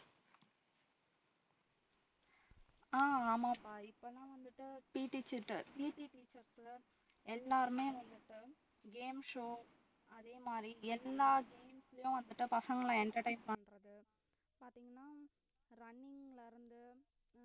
ஆஹ் ஆமாப்பா இப்பல்லாம் வந்துட்டு Pteacher ட்ட PT teacher எல்லாருமே வந்துட்டு game show அதே மாதிரி எல்லா games லயும் வந்துட்டு பசங்களை entertain பண்றது பாத்தீங்கன்னா running ல இருந்து